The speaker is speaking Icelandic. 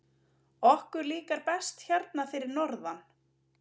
Okkur líkar best hérna fyrir norðan.